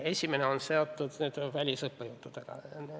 Esimene on seotud välisõppejõududega.